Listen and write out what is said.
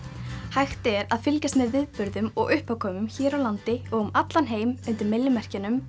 hægt er að fylgjast með viðburðum og uppákomum hér á landi og um allan heim undir